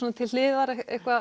til hliðar